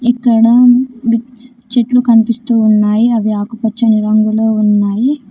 ఇక్కడ బిక్ చెట్లు కనిపిస్తూ ఉన్నాయి అవి ఆకుపచ్చని రంగులో ఉన్నాయి.